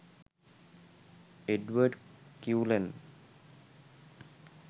edward cullen